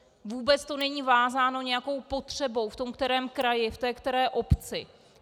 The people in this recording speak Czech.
Vůbec to není vázáno nějakou potřebou v tom kterém kraji, v té které obci.